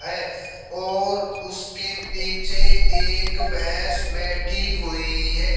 है और उसके पीछे एक भैंस बैठी हुई है।